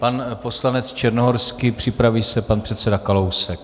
Pan poslanec Černohorský, připraví se pan předseda Kalousek.